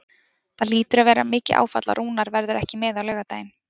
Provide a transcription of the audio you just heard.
Það hlýtur að vera mikið áfall að Rúnar verður ekki með á laugardaginn?